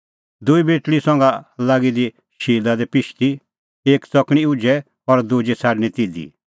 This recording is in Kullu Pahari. दूई बेटल़ी हणीं संघा लागी दी शिला दी पिशदी एक च़कणीं उझै और दुजी छ़ाडणीं तिधी